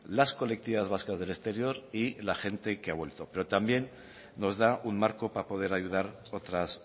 las colectividades vascas del exterior y la gente que ha vuelto pero también nos da un marco para poder ayudar otras